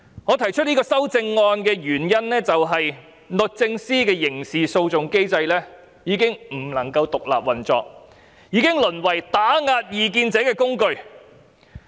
我提出修正案的原因，是律政司的刑事訴訟機制已經不能夠獨立運作，已經淪為打壓異見者的工具。